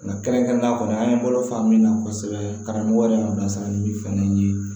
Nka kɛrɛnkɛrɛnnen kɔnɔ an ye balo faamu min na kosɛbɛ karamɔgɔ yɛrɛ y'an bilasira ni fɛn dɔ ye